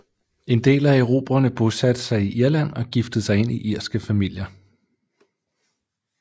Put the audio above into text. En del af erobrerne bosatte sig i Irland og giftede sig ind i irske familier